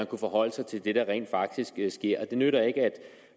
kunne forholde sig til det der rent faktisk sker det nytter ikke